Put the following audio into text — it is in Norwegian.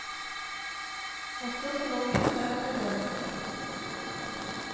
Også som novellist er han berømt.